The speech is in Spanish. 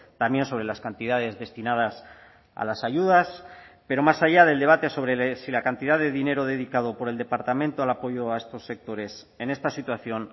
también sobre las cantidades destinadas a las ayudas pero más allá del debate sobre si la cantidad de dinero dedicado por el departamento al apoyo a estos sectores en esta situación